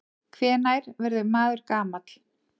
Hvenær verður maður gamall?